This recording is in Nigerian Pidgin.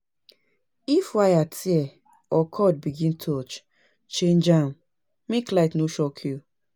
If wire tear or cord begin touch, change am make light no shock you